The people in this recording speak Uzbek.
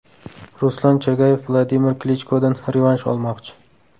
Ruslan Chagayev Vladimir Klichkodan revansh olmoqchi.